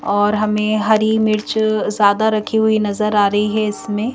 और हमें हरी मिर्च ज्यादा रखी हुई नजर आ रही है इसमें।